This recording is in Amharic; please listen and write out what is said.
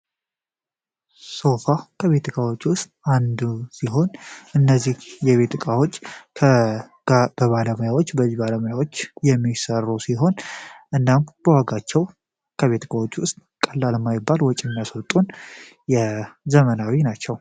ሶፋ ከቤት እቃዎቺ ዉስጥ አንዱ ሲሆን አነዚህ የቤት አካዎች በ አጅ ባለሞያዎች የሚሰሩ እኔ ናም በዋጋቸው ከቤት እቃዎች ዉስጥ ቀላይ የማይባል ወጭ የሚያስወጡን ዘመናዊ ናቸው ።